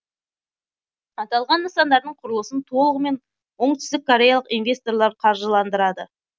аталған нысандардың құрылысын толығымен оңтүстік кореялық инвесторлар қаржыландырады